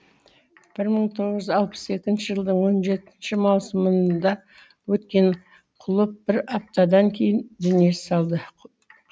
бір мың тоғыз жүз алпыс екінші жылдың он жетінші маусымында өткен құлып бір аптадан кейін дүние салды